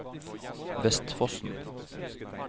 Vestfossen